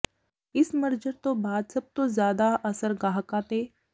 ਇਸ ਮਰਜਰ ਤੋਂ ਬਾਅਦ ਸਭ ਤੋਂ ਜ਼ਿਆਦਾ ਅਸਰ ਗਾਹਕਾਂ ਤੇ